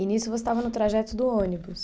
E nisso você estava no trajeto do ônibus?